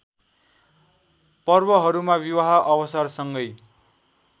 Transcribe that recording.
पर्वहरूमा विवाह अवसरसँगै